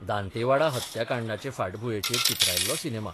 दांतेवाडा हत्याकांडाचे फाटभुंयेचेर चित्रायिल्लो सिनेमा.